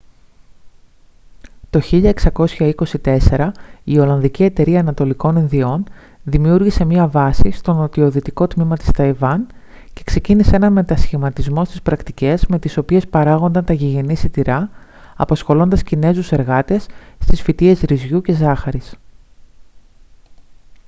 το 1624 η ολλανδική εταιρεία ανατολικών ινδιών δημιούργησε μια βάση στο νοτιοδυτικό τμήμα της ταϊβάν και ξεκίνησε έναν μετασχηματισμό στις πρακτικές με τις οποίες παράγονταν τα γηγενή σιτηρά απασχολώντας κινέζους εργάτες στις φυτείες ρυζιού και ζάχαρης